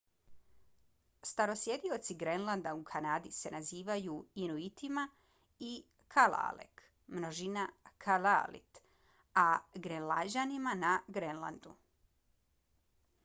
starosjedioci grenlanda u kanadi se nazivaju se inuitima i kalaalleq množina kalaallit a grenlanđanima na grenlandu